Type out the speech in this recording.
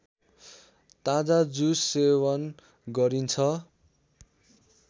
ताजा जुस सेवन गरिन्छ